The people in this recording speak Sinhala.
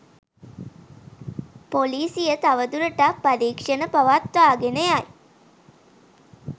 පොලිසිය තවදුරටත් පරීක්‍ෂණ පවත්වාගෙන යයි